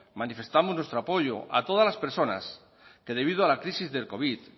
manifestamos nuestro apoyo a todas las personas que debido a la crisis del covid